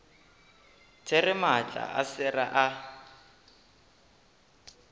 there maatla a sera a